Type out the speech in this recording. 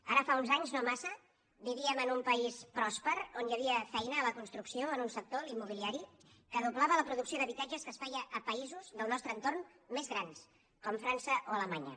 ara fa uns anys no massa vivíem en un país pròsper on hi havia feina a la construcció en un sector l’immobiliari que doblava la producció d’habitatges que es feia a països del nostre entorn més grans com frança o alemanya